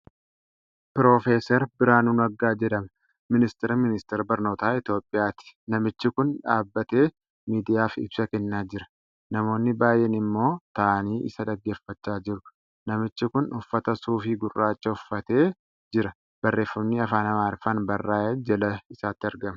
Pirofeesaar Biraanuu Naggaa jedhama Ministiira Ministeera Barnootaa Itoophiyaati. Namichi kun dhaabatee miidiyaaf ibsa kennaa jira. Namoonni baay'een ammoo taa'anii isa dhaggeeffachaa jiru. Namichi kun uffata suufii gurraacha uffatee jira. Barreefami afaan Amaariffaan barraa'e jala isaatti argama.